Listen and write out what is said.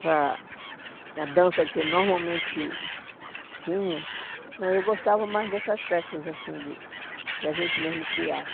Para a dança que normalmente tinha, né eu gostava mais dessas festas assim de que a gente mesmo criava.